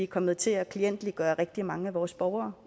kommet til at klientgøre rigtig mange af vores borgere